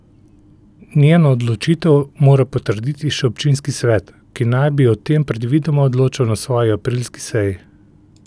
Njeno odločitev mora potrditi še občinski svet, ki naj bi o tem predvidoma odločal na svoji aprilski seji.